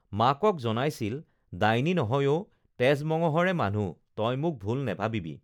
মাকক জনাইছিল ডাইনী নহয় অ তেজ মঙহৰে মানুহ তই মোক ভুল নেভাবিবি